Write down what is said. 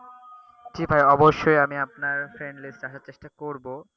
জি ভাই অবশ্যই আমি আপনার friend list এ আসার চেষ্টা করবো,